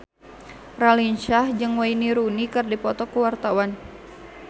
Raline Shah jeung Wayne Rooney keur dipoto ku wartawan